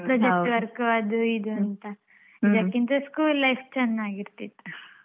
Project work ಅದು ಇದು ಅಂತ ಇದಕ್ಕಿಂತ school life ಚೆನ್ನಾಗಿರ್ತಿತ್ತು.